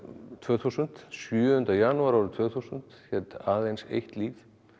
tvö þúsund sjöunda janúar árið tvö þúsund hét aðeins eitt líf